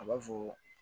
A b'a fɔ